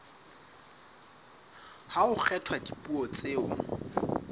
ha ho kgethwa dipuo tseo